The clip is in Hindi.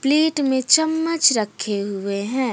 में चम्मच रखे हुए है।